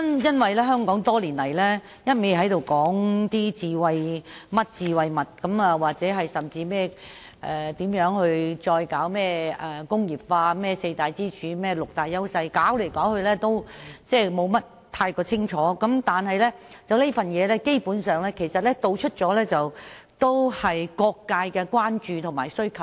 多年來，香港只是不斷談論各種"智慧"模式、再工業化、四大支柱產業、六大優勢產業等，但卻從來沒有具體方案，而這份《藍圖》基本上涵蓋了各界的關注和需求。